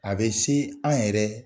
A bɛ se an yɛrɛ